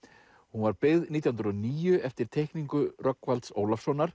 hún var byggð nítján hundruð og níu eftir teikningu Rögnvalds